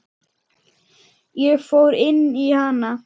Ég fór inn í hana.